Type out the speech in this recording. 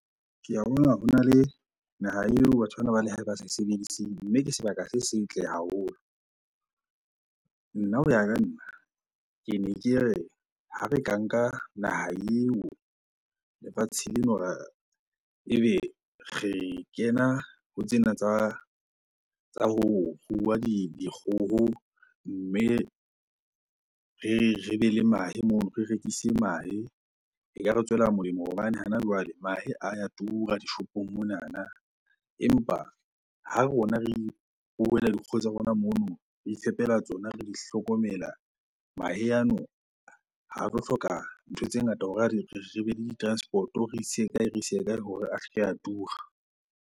Ke a bona hona le naha eo batho bana ba lehae ba sa e sebediseng mme ke sebaka se setle haholo. Nna hoya ka nna, kene ke re ha re ka nka naha eo, lefatshe leno ra, ebe re kena ho tsena tsa ho rua dikgoho mme re be le mahe mono, re rekise mahe. Ekare tswela molemo hobane hana jwale mahe a ya tura dishopong monana empa ha rona re ruela dikgoho tsa rona mono, re ifepela tsona, re di hlokomela. Mahe ano ha tlo hloka ntho tse ngata hore re be le di-transport-o re ise kae, re ise kae hore a se ke a tura.